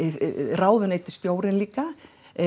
ráðuneytisstjórinn líka